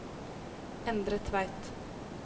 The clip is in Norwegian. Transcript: Endre Tveit